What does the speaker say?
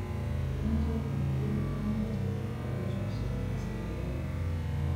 eng choto tugul, ko much kegerta nyasusiet asimayeyak